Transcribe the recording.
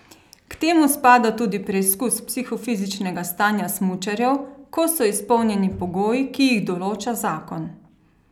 K temu spada tudi preizkus psihofizičnega stanja smučarjev, ko so izpolnjeni pogoji, ki jih določa zakon.